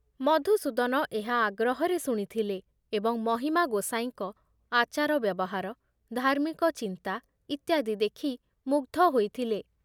ମଧୁସୂଦନ ଏହା ଆଗ୍ରହରେ ଶୁଣିଥିଲେ ଏବଂ ମହିମା ଗୋସାଇଁଙ୍କ ଆଚାର ବ୍ୟବହାର, ଧାର୍ମିକ ଚିନ୍ତା ଇତ୍ୟାଦି ଦେଖି ମୁଗ୍ଧ ହୋଇଥିଲେ ।